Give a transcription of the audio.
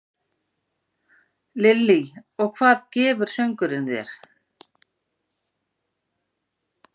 Lillý: Og hvað gefur söngurinn þér?